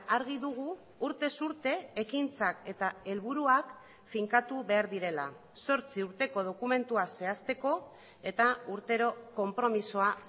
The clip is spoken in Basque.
argi dugu urtez urte ekintzak eta helburuak finkatu behar direla zortzi urteko dokumentua zehazteko eta urtero konpromisoa